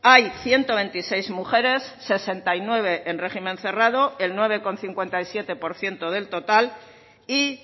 hay ciento veintiséis mujeres sesenta y nueve en régimen cerrado el nueve coma cincuenta y siete por ciento del total y